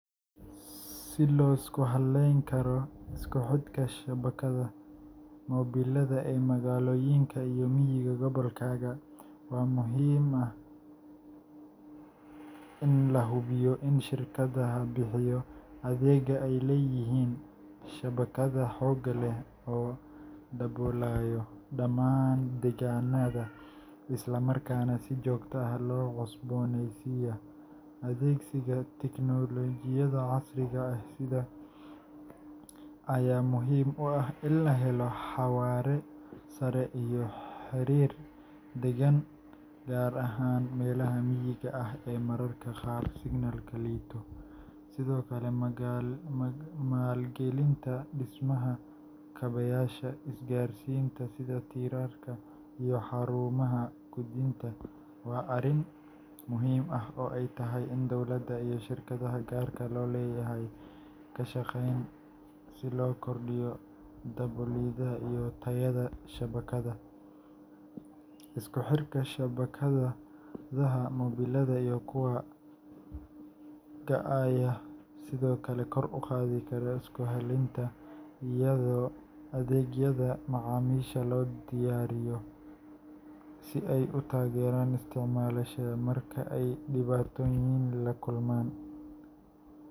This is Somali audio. Si loo isku hallayn karo isku xidhka shabakada mobilada ee magaalooyinka iyo miyiga gobolkaaga, waxaa muhiim ah in la hubiyo in shirkadaha bixiya adeegga ay leeyihiin shabakado xoog leh oo daboolaya dhammaan deegaanada, isla markaana si joogto ah loo cusbooneysiiyo. Adeegsiga tiknoolajiyada casriga ah sida 4G LTE iyo 5G ayaa muhiim u ah in la helo xawaare sare iyo xiriir deggan, gaar ahaan meelaha miyiga ah ee mararka qaar signalku liito. Sidoo kale, maalgelinta dhismaha kaabayaasha isgaarsiinta, sida tiirarka iyo xarumaha gudbinta, waa arrin muhiim ah oo ay tahay in dowladda iyo shirkadaha gaarka loo leeyahay ay ka shaqeeyaan si loo kordhiyo daboolida iyo tayada shabakada. Isku xirka shabakadaha mobilada iyo kuwa WiFiga ayaa sidoo kale kor u qaadi kara isku hallaynta, iyadoo adeegyada macaamiisha loo diyaariyo si ay u taageeraan isticmaalayaasha marka ay dhibaatooyin la kulmaan.